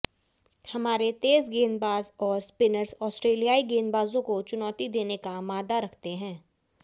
हमारे तेज गेंदबाज और स्पिनर्स ऑस्ट्रेलियाई गेंदबाजों को चुनौती देने का माद्दा रखते हैं